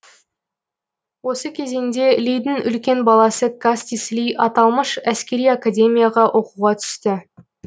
осы кезеңде лидің үлкен баласы кастис ли аталмыш әскери академияға оқуға түсті